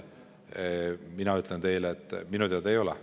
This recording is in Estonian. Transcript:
Mina ütlen teile, et minu teada ei ole.